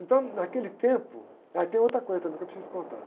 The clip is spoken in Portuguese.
Então, naquele tempo... Aí tem outra coisa também que eu preciso te contar.